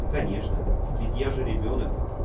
ну конечно ведь я же ребёнок